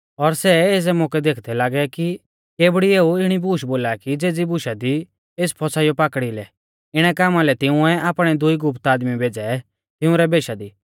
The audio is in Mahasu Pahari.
और सै एज़ै मौकै देखदै लागै कि केबड़ी एऊ इणी बूश बोला कि ज़ेज़ी बुशा दी एस फसाइयौ पाकड़िलै इणै कामा लै तिंउऐ आपणै दुई गुप्त आदमी भेज़ै तिंउरै भेषा दी